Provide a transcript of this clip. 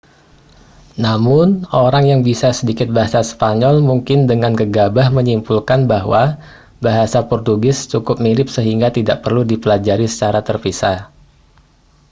namun orang yang bisa sedikit bahasa spanyol mungkin dengan gegabah menyimpulkan bahwa bahasa portugis cukup mirip sehingga tidak perlu dipelajari secara terpisah